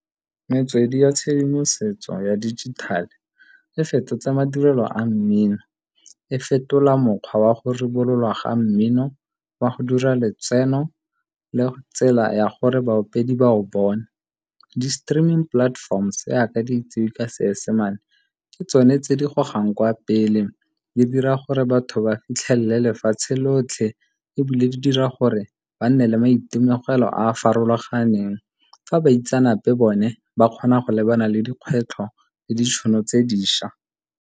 Metswedi ya tshedimosetso ya dijithale e fetotse madirelo a mmino. E fetola mokgwa wa go rebololwa ga mmino, wa go dira letseno le tsela ya gore baopedi ba o bone. Di-streaming platforms, jaaka di itsewe ka Seesemane, ke tsone tse di gogang kwa pele. Di dira gore batho ba fitlhelele lefatshe lotlhe, ebile di dira gore ba nne le maitemogelo a a farologaneng. Fa baitsanape bone ba kgona go lebana le dikgwetlho le ditšhono tse dišwa.